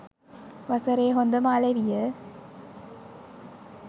වසරේ හොඳම අලෙවිය